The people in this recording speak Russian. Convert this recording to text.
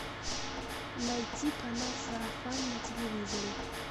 найти канал сарафан на телевизоре